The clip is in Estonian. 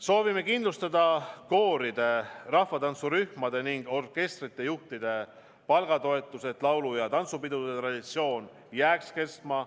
Soovime kindlustada kooride, rahvatantsurühmade ning orkestrite juhtide palgatoetuse, et laulu- ja tantsupidude traditsioon jääks kestma.